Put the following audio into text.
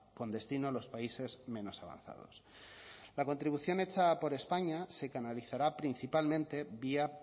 con destino a los países menos avanzados la contribución hecha por españa se canalizará principalmente vía